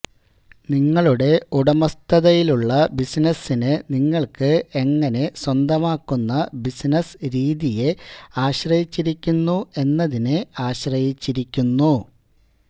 നിങ്ങളുടെ ഉടമസ്ഥതയിലുള്ള ബിസിനസ്സിനെ നിങ്ങൾക്ക് എങ്ങനെ സ്വന്തമാക്കുന്ന ബിസിനസ്സ് രീതിയെ ആശ്രയിച്ചിരിക്കുന്നു എന്നതിനെ ആശ്രയിച്ചിരിക്കുന്നു